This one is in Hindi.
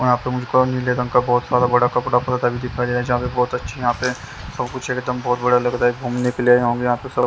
यहाँ पे मुझको नीले रंग का बहुत सारा बड़ा कपड़ा भी दिखाई दे रहा हैजहाँ पे बहुत अच्छी यहाँ पे सब कुछ एकदम बहुत बड़ा लग रहा हैघूमने के लिए आए होंगे यहाँ पे तो--